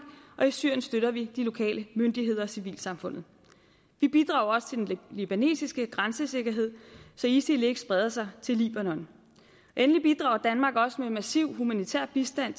og i syrien støtter vi de lokale myndigheder og civilsamfundet vi bidrager også til den libanesiske grænsesikkerhed så isil ikke spreder sig til libanon endelig bidrager danmark også med massiv humanitær bistand